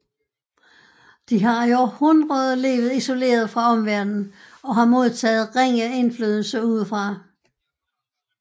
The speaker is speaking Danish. De har i århundreder levet isoleret fra omverdenen og har modtaget ringe indflydelse udefra